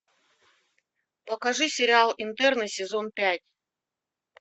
покажи сериал интерны сезон пять